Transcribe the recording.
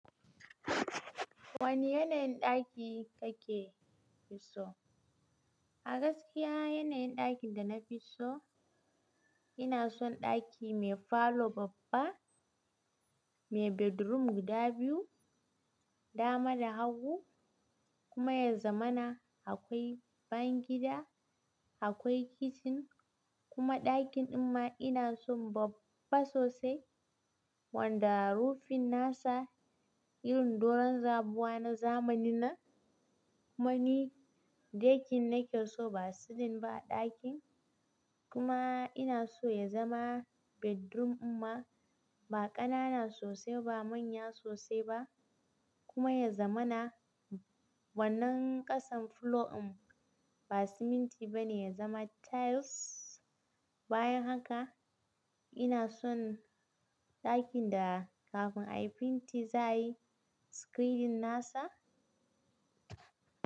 Wane yanayin ɗaki kake so? A gaskiya yanayin ɗakin da na fi so, ina son ɗaki mai falo babba, mai bedroom guda biyu, dama da hagu kuma ya zamana. Akwai bangida, akwai kitchen kuma ɗakin dinma ina son babba sosai wanda rufin nasa irin doron zabuwa na zamani nnan Mani, deckin nake so ba ceiling ba ɗakin kuma ina so ya zama bedroom inma ba ƙanana sosai ba manya sosai ba kuma ya zamana. Wannan ƙasan floor in ba siminti ba ne, ya zama tiles. Bayan haka ina son ɗakin da kafin a yi fenti, za a yi screening nasa.